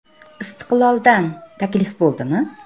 “Istiqlol”dan taklif bo‘ldimi?